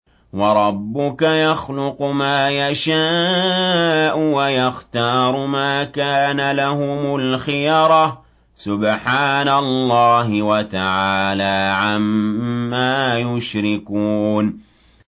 وَرَبُّكَ يَخْلُقُ مَا يَشَاءُ وَيَخْتَارُ ۗ مَا كَانَ لَهُمُ الْخِيَرَةُ ۚ سُبْحَانَ اللَّهِ وَتَعَالَىٰ عَمَّا يُشْرِكُونَ